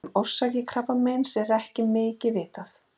Um orsakir brjóstakrabbameins er ekki mikið vitað.